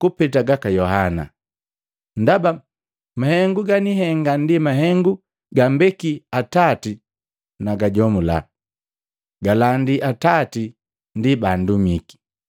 kupeta gaka Yohana. Ndaba mahengu ganihenga ndi mahengu gambeki Atati nagajomula, galangi Atati ndi bandumiki.